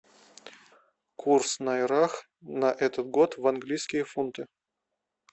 курс найрах на этот год в английские фунты